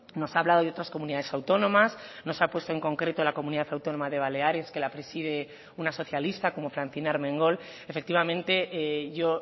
nos ha hablado de otras comunidades autónomas nos ha puesto en concreto la comunidad autónoma de baleares que la preside una socialista como francina armengol efectivamente yo